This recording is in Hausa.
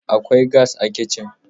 Akwai gas a kitcin.